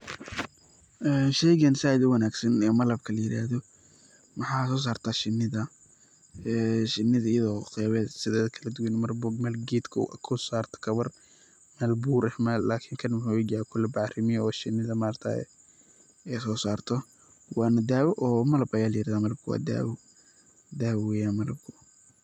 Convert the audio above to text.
Sheygan said uwanagsan ee malab layirahda waxa sosarta shinida, shinada ayado qeybaheda sideda kaladuwan iyado marba gedka korsarto kawar, meel bur eeh lakin kan wuxu uegyahay kuu labac rimiye oo shinida maaragtaye ey sosarto wana dawo oo malab aya layirahda, malabkana wa dawo.